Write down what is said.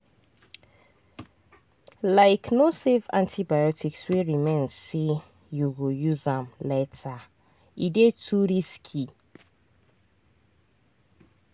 likeno save antibiotics wey remain say you go use am latere dey too risky.